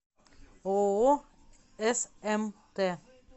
ооо смт